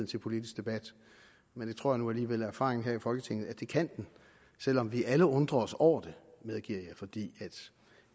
til politisk debat men det tror jeg nu alligevel er erfaringen her i folketinget at det kan selv om vi alle undrer os over det medgiver jeg fordi